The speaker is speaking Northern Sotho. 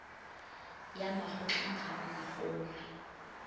ya makgotleng ga o nkgolwe